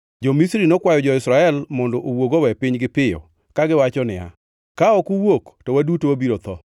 Jo-Misri nokwayo jo-Israel mondo owuog owe pinygi piyo kagiwacho niya, “Ka ok uwuok to waduto wabiro tho!”